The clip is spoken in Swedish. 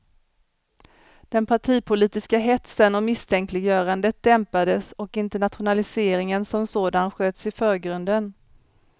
Den partipolitiska hetsen och misstänkliggörandet dämpades och internationaliseringen som sådan sköts i förgrunden.